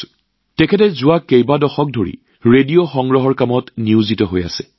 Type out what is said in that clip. ৰাম সিং জীয়ে যোৱা কেইবাটাও দশক ধৰি ৰেডিঅ চেট সংগ্ৰহৰ কামত নিয়োজিত হৈ আছে